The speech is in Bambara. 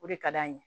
O de ka d'an ye